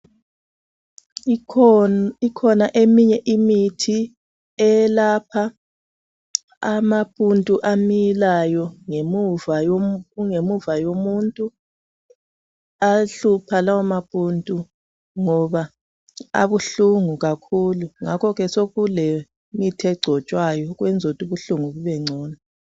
Ikhona eminye imithi eyelapha amapundu amilayo kungemuva yomuntu. Ayahlupha lawo mapundu ngoba abuhlungu kakhulu ngakhoke sekule mithi egcotshwayo ukwenzela ukuthi ubuhlungu bubengcono.